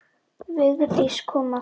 Vigdís kom aftur.